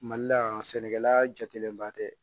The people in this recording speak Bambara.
Mali la yan sɛnɛkɛla jatigɛba tɛ